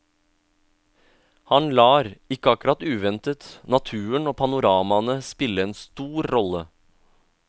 Han lar, ikke akkurat uventet, naturen og panoramaene spille en stor rolle.